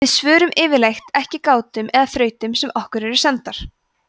við svörum yfirleitt ekki gátum eða þrautum sem okkur eru sendar